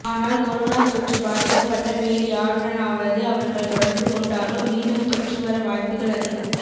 ஆனால் கொரோனா தொற்று பாதிக்கப்பட்ட வேறு யாருடனாவது அவர்கள் தொடர்பு கொண்டாலோ மீண்டும் தொற்று வர வாய்ப்புகள் அதிகம்